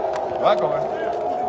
Daha nələr, nələr eləyə bilərdi?